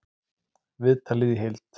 Viðtalið í heild